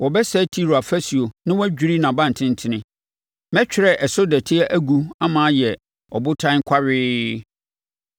Wɔbɛsɛe Tiro afasuo na wɔadwiri nʼaban tentene. Mɛtwerɛ ɛso dɔteɛ agu ama ayɛ ɔbotan kwawee.